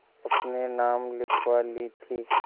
अपने नाम लिखवा ली थी